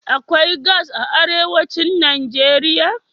Akwai gas a arewacin Najeriya?